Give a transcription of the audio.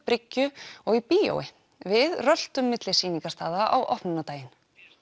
bryggju og í bíói við röltum milli á opnunardaginn